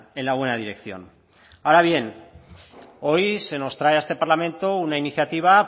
en la buena dirección ahora bien hoy se nos trae a este parlamento una iniciativa